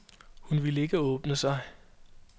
Hun ville ikke åbne sig.